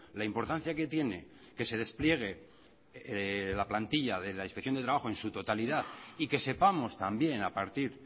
la importancia que tiene que se despliegue la plantilla de la inspección de trabajo en su totalidad y que sepamos también a partir